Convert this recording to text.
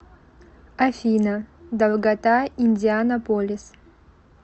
афина долгота индианаполис